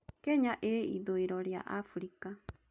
Kenya ĩĩ ithũĩro rĩa Abirika.